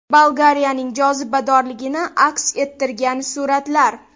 Bolgariyaning jozibadorligini aks ettirgan suratlar .